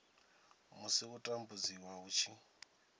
musi u tambudziwa hu tshi